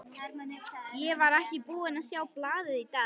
Ég var ekki búinn að sjá blaðið í dag.